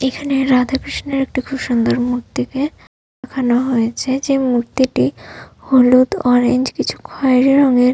এখানে রাধাকৃষ্ণের একটি খুব সুন্দর মূর্তিকে দেখানো হয়েছে যে মূর্তিটি হলুদ অরেঞ্জ কিছু খৈরী রঙের--